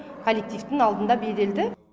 коллективтің алдында беделді